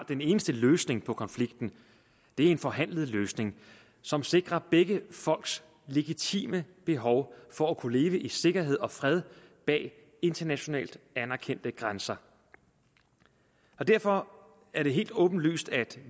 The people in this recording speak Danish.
den eneste løsning på konflikten er en forhandlet løsning som sikrer begge folks legitime behov for at kunne leve i sikkerhed og fred med internationalt anerkendte grænser derfor er det helt åbenlyst at